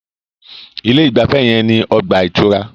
Ilé ìgbafẹ́ yẹn ní ọgbà ìtura.